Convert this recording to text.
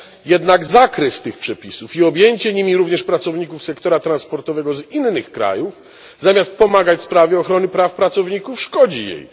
Jednak zakres tych przepisów i objęcie nimi również pracowników sektora transportowego z innych krajów zamiast pomagać sprawie ochrony praw pracowników, szkodzi jej.